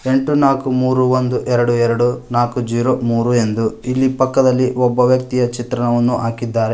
ಎಂಟು ನಾಕು ಮೂರೂ ಒಂದು ಏಳು ಎರಡು ಎರಡು ನಾಕು ಝೀರೋ ಮೂರು ಎಂದು ಇಲ್ಲಿ ಪಕ್ಕದಲ್ಲಿ ಒಬ್ಬ ವ್ಯಕ್ತಿಯ ಚಿತ್ರಣವನ್ನು ಹಾಕಿದ್ದಾರೆ.